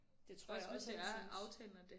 Det tror jeg også han synes